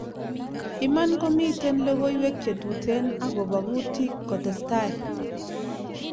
Iman ko miten logowek che tuten akopa kutik kotestai.